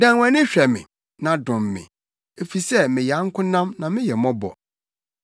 Dan wʼani hwɛ me, na dom me, efisɛ meyɛ ankonam na meyɛ mmɔbɔ.